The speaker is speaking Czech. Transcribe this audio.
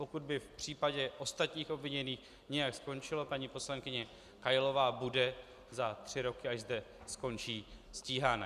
Pokud by v případě ostatních obviněných nějak skončilo, paní poslankyně Kailová bude za tři roky, až zde skončí, stíhána.